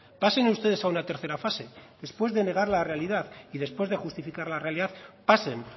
pasen ustedes a una tercera fase después de negar la realidad y después de justificar la realidad pasen